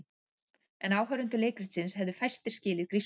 En áhorfendur leikritsins hefðu fæstir skilið grískuna.